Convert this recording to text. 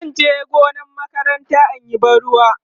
zanje gonar makaranta inyi ban ruwa